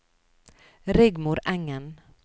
Rigmor Engen